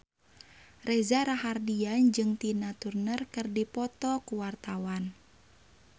Reza Rahardian jeung Tina Turner keur dipoto ku wartawan